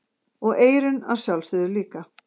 Og eyrun að sjálfsögðu líka.